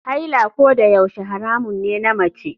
Haila kodayaushe haramun ne na mace.